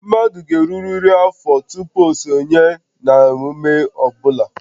Mmadụ ga-erurịrị afọ tupu o sonye na emume ọ bụla